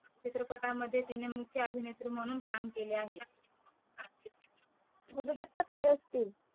चित्रपटामध्ये तिने मुख्य अभिनेत्री म्हणून काम केले आहे गुरुदत्त काय असतील